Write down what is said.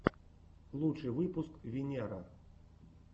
лучший выпуск виннера